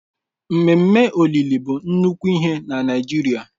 Ememe olili bụ nnukwu ihe na Naịjirịa.